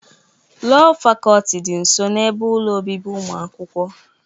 Lọọ Fakọlti dị nso n'ebe ụlọ obibi ụmụ akwụkwọ.